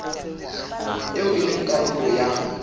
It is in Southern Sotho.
eo e leng karolo ya